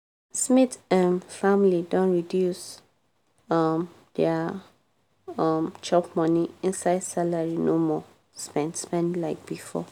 smith um family don reduce um dia um chop-money inside salary no more spend spend like before.